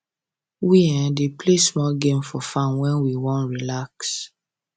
we um dey play small game for farm when we wan um relax